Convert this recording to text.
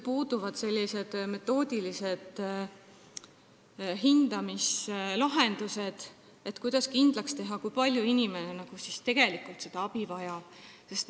Puuduvad metoodilised hindamislahendused, kuidas kindlaks teha, kui palju inimene tegelikult abi vajab.